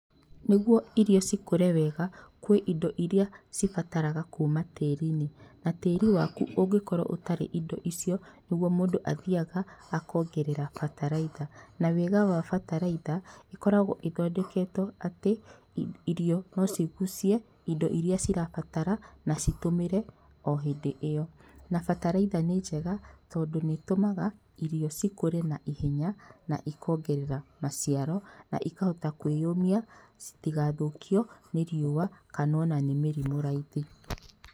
Nĩguo irio cikũre wega kwĩ indo iria cibataraga kuma tĩri-inĩ, na tĩri waku ũngĩkorwo ũtarĩ indo icio, nĩrĩo mũndũ athiaga akongerera bataraitha na wega wa bataraitha ĩkoragwo ĩthondeketwo atĩ irio no cigucie indo iria cirabatara na ci tũmĩre o hĩndĩ ĩyo, na bataraitha nĩ njega tondũ nĩ ĩtũmaga irio cikũre na ihenya na ikongerera maciaro na ikahota kwĩyũmia citigathũkio nĩ riũa kana ona nĩ mĩrimũ raithi.